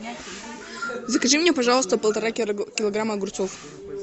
закажи мне пожалуйста полтора килограмма огурцов